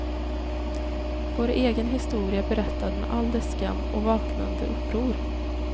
Vår egen historia berättad med all dess skam och vaknande uppror.